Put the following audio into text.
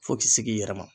Fo k'i se k'i yɛrɛ ma